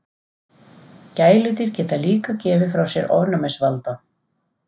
Gæludýr geta líka gefið frá sér ofnæmisvalda.